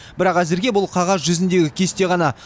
бірақ әзірге бұл қағаз жүзіндегі кесте ғана